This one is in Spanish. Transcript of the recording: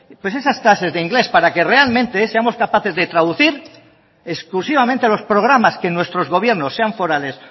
pues esas clases de inglés para que realmente seamos capaces de traducir exclusivamente a los programas que nuestros gobiernos sean forales